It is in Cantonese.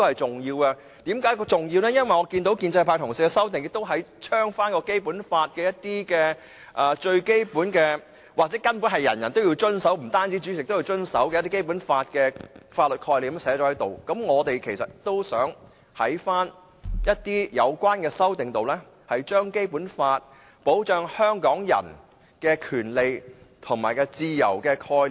這點是重要的，因為建制派同事的修正案，同樣加入了《基本法》中的最基本，又或根本是涵蓋每個人，包括主席的法律概念；而我們其實也想在有關的修正案，加入《基本法》保障香港人的權利和自由的概念。